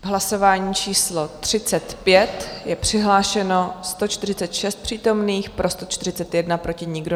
V hlasování číslo 35 je přihlášeno 146 přítomných, pro 141 proti nikdo.